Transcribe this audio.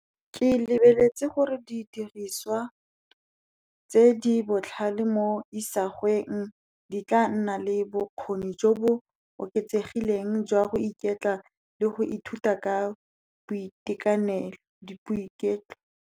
Ke lebeletse gore didiriswa tse di botlhale mo isagweng di tla nna le bokgoni jo bo oketsegileng jwa go iketla le go ithuta ka boitekanelo .